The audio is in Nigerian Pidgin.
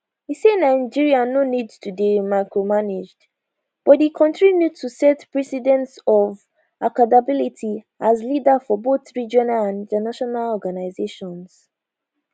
e say nigeria no need to dey micromanaged but di kontri need to set precedent of accountability as leader for both regional and international organisations